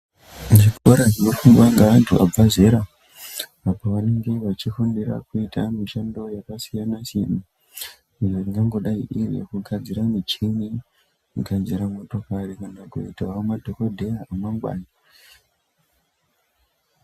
Zvikora zvinofundwa ngeantu vabve zera, apa vanenge vachifundira kuita mishando yakasiyana-siyana ,ingangodayi iri yekugadzira michini, kugadzira motokari, kana kuitawo madhokodheya emangwani.